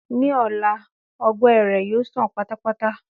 Ní ọ̀la, ọgbẹ́ rẹ̀ yóò sàn pátápátá.